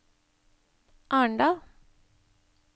Arendal